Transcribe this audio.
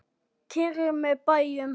Keyrið með bæjum